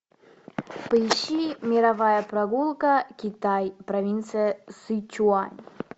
поищи мировая прогулка китай провинция сычуань